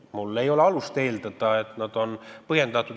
Mul ei ole alust eeldada, et need ei ole põhjendatud.